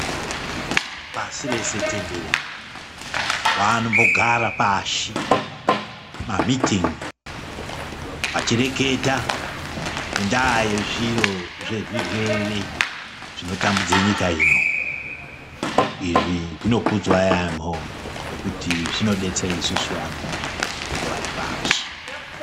Pasi rese tenderere, vanombogara pashi(mamitin'i ) vachireketa ngendaa yezviro zvezvirwere zvinotambudze nyika ino. Izvi zvinokudzwa yaemho nekuti zvinodetsere isusu vanhu vanenge vari pashi.